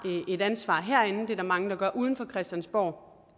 et ansvar herinde det er der mange der gør uden for christiansborg